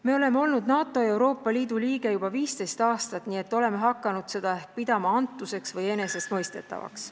Me oleme olnud NATO ja Euroopa Liidu liige juba 15 aastat, nii et oleme hakanud seda pidama ehk antuseks või enesestmõistetavuseks.